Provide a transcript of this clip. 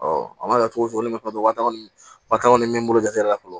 a mana kɛ cogo cogo ne bɛ fɛn dɔ wa tan ni min bolo la fɔlɔ